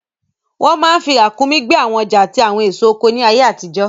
Wọ́n máa n fi ràǹkúnmí gbé àwọn ọjà àti àwọn èso oko ní ayé àtijọ́